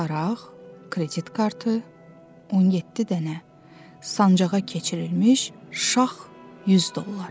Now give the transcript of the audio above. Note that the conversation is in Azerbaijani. Daraq, kredit kartı, 17 dənə sancaqqa keçirilmiş şax 100 dollar.